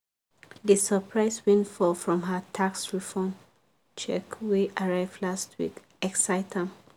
d surprise windfall from her tax refund check wey arrive last week excite am.